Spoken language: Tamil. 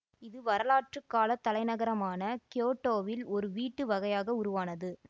இது வரலாற்றுக்காலத் தலைநகரமான கியோட்டோவில் ஒரு வீட்டு வகையாக உருவானது